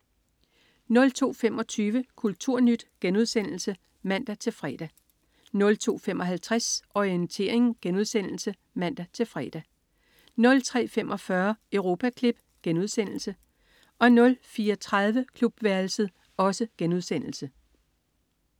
02.25 Kulturnyt* (man-fre) 02.55 Orientering* (man-fre) 03.45 Europaklip* 04.30 Klubværelset*